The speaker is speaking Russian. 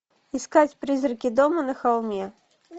искать призраки дома на холме